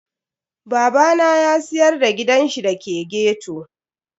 Babana ya siyar da gidanshi da ke ghetto.